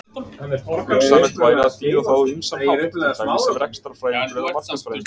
Hugsanlegt væri að þýða það á ýmsan hátt, til dæmis sem rekstrarfræðingur eða markaðsfræðingur.